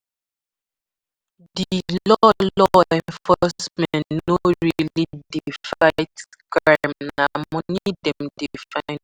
Di law law enforcement no really de fight crime na money dem de find too